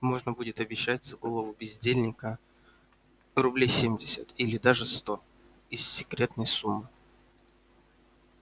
можно будет обещать за голову бездельника рублей семьдесят или даже сто из секретной суммы